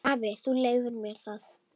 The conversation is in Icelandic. Afi, þú leyfir mér það.